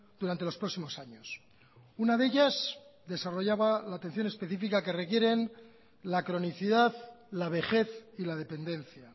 durante los próximos años una de ellas desarrollaba la atención específica que requieren la cronicidad la vejez y la dependencia